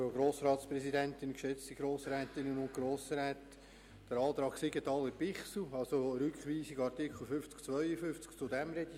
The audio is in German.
Ich gehe nun als Erstes auf den Antrag Siegenthaler/Bichsel betreffend die Rückweisung der Artikel 50–52 ein.